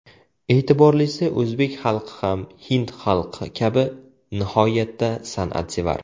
E’tiborlisi, o‘zbek xalqi ham, hind xalqi kabi nihoyatda san’atsevar.